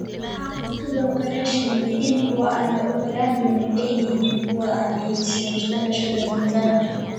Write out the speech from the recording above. Waxa uu sidoo kale sheegay in kuwa aan la ogolaan doonin ay yihiin kuwa aan heysan dhalashada Tanzania.